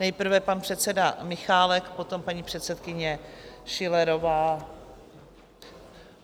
Nejprve pan předseda Michálek, potom paní předsedkyně Schillerová.